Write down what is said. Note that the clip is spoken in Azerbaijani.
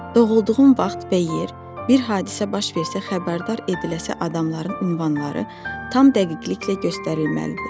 Doğulduğum vaxt və yer, bir hadisə baş versə xəbərdar ediləcək adamların ünvanları tam dəqiqliklə göstərilməlidir.